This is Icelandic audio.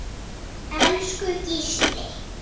Elsku Gísli.